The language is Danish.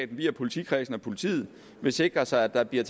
via politikredsen og politiet vil sikre sig at der bliver